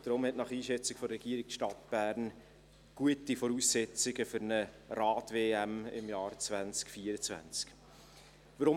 Deshalb hat die Stadt Bern nach Einschätzung der Regierung gute Voraussetzungen für eine Rad-WM im Jahr 2024.